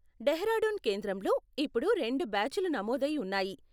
డెహ్రాడూన్ కేంద్రంలో ఇప్పుడు రెండు బ్యాచులు నమోదై ఉన్నాయి .